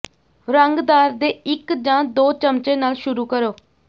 ਰੰਗਦਾਰ ਦੇ ਇਕ ਜਾਂ ਦੋ ਚਮਚੇ ਨਾਲ ਸ਼ੁਰੂ ਕਰੋ